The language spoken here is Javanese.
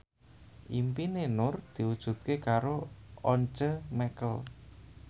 impine Nur diwujudke karo Once Mekel